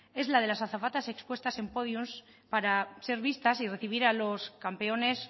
es la de las azafatas expuestas en pódiums para ser vistas y recibir a los campeones